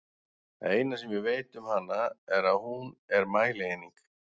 Það eina sem ég veit um hana er að hún er mælieining!